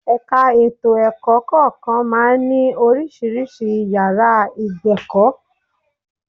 Ẹ̀ka ètò ẹ̀kọ́ kọ̀ọ̀kan máa ń ní oríṣiríṣi yàrá ìgbẹ̀kọ̀